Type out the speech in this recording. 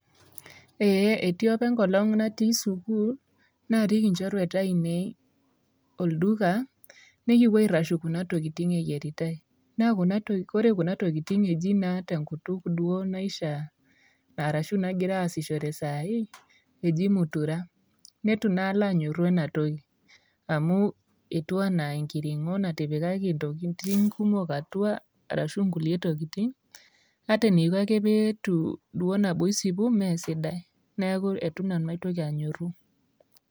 Eee eti apa enkolong' natii sukuul narik inchorueata ainei olduka nekipuo aitashu kuna tokitin eyiaritai naa kuna tokiti. Ore kuna tokitin eji naa te nkutuk duo naishaa arashu nagira aasishore saa hii eji mutura. Nitu naa alo anyoru ena toki amu itu ena enkiring'o natipikaki ntokitin kumok atua arashu nkulie tokitin natinipika pee etu duo nabo isipu mee sidai. Neeku itu nanu aitoki anyoru.